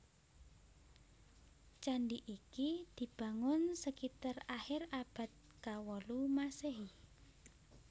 Candi iki dibangun sekitar akhir abad kawolu Maséhi